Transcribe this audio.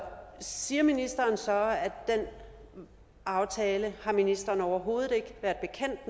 siger ministeren så at den aftale har ministeren overhovedet ikke